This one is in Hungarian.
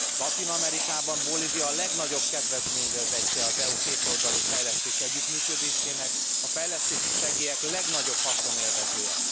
Latin Amerikában Bolívia a legnagyobb kedvezményezettje az EU kétoldalú fejlesztési együttműködésének, a fejlesztési segélyek legnagyobb haszonélvezője.